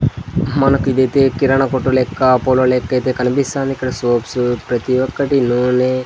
మనకు ఇది అయితే కిరాణా కొట్టు లెక్క పొల లెక్కైతే కనిపిస్తాంది ఇక్కడ సోప్స్ ప్రతి ఒక్కటి నూనె --